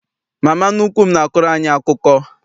Mama nnukwu m n'akọrọ anyị akụkọ.